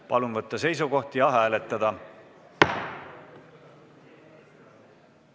Palun võtta seisukoht ja hääletada!